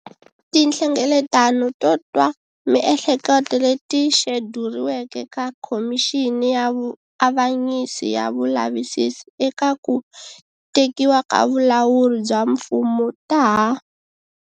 Tinhlengeletano to twa miehleketo leti xeduriweke ta Khomixini ya Vuavanyisi ya Vulavisisi eka ku Tekiwa ka Vulawuri bya Mfumo ta ha.